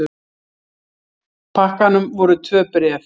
pakkanum voru tvö bréf.